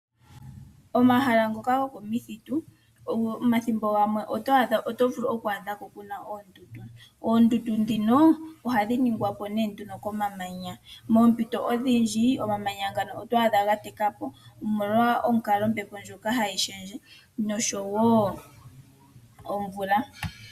Omahala ngoka gokomithitu omathimbo gamwe oto vulu oku adha po pu na oondundu. Oondundu ndhino ohadhi ningwa po nee nduno komamanya. Moompito odhindji omamanya ngano oto adha ga teka po omolwa onkalo yombepo ndjoka hayi shendje nosho wo omvula.